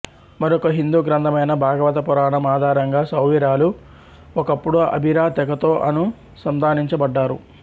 మరొక హిందూ గ్రంథమైన భాగవత పురాణం ఆధారంగా సౌవిరాలు ఒకప్పుడు అభిరా తెగతో అనుసంధానించబడ్డారు